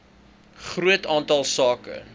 groot aantal sake